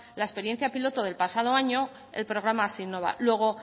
la experiencia piloto del pasado año el programa hazinnova luego